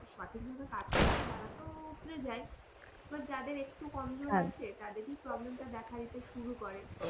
সঠিক ভাবে কাজ করছে তারা তো উৎরে যাই এবার যাদের একটু কমজোরী আছে তাদেরই problem তা দিতে শুরু করে.